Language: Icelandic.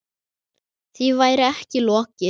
Því væri ekki lokið.